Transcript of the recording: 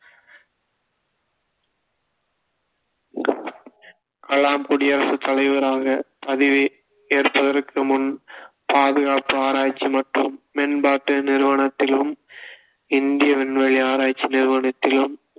கலாம் குடியரசு தலைவராக பதவி ஏற்பதற்குமுன் பாதுகாப்பு ஆராய்ச்சி மற்றும் மேம்பாட்டு நிறுவனத்திலும் இந்திய விண்வெளி ஆராய்ச்சி நிறுவனத்திலும்